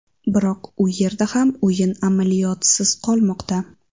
Biroq u yerda ham o‘yin amaliyotisiz qolmoqda.